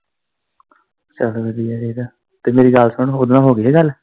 ਚੱਲ ਵਧੀਆ ਚਾਹੀਦਾ ਤੇ ਮੇਰੀ ਗੱਲ, ਸੁਣ ਓਦੇ ਨਾਲ ਹੋਗੀ ਹੀ ਗੱਲ।